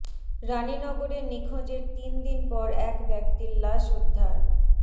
রানীনগরে নিখোঁজের তিন দিন পর এক ব্যক্তির লাশ উদ্ধার